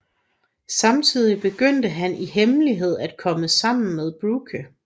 Samtidig begynder han i hemmelighed at komme sammen med Brooke